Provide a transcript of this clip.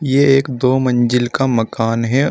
ये एक दो मंजिल का मकान है।